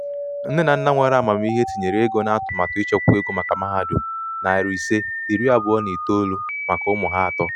ndi nne na nna nwere amamihe tinyere ego na atụmatụ ịchekwa ego maka mahadum nari ise iri abuo na itoou maka ụmụ ha atọ.